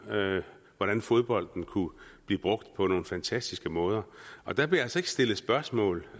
hvordan fodbold kunne blive brugt på nogle fantastiske måder der blev altså ikke stillet spørgsmål